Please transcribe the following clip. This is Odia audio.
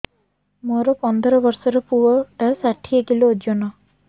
ମୋର ପନ୍ଦର ଵର୍ଷର ପୁଅ ଟା ଷାଠିଏ କିଲୋ ଅଜନ